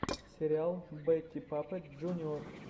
сериал бэтти паппэт джуниор